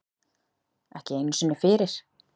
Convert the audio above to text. Ekki einu sinni fyrir